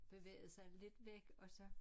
Bevægede sig lidt væk og så